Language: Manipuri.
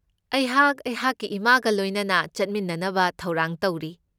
ꯑꯩꯍꯥꯛ ꯑꯩꯍꯥꯛꯀꯤ ꯏꯃꯥꯒ ꯂꯣꯏꯅꯅ ꯆꯠꯃꯤꯟꯅꯅꯕ ꯊꯧꯔꯥꯡ ꯇꯧꯔꯤ꯫